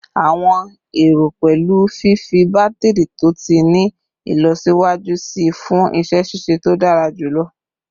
Awọn ero pẹlu fifi batiri to ti ni ilọsiwaju sii fun iṣẹ ṣiṣe to dara julọ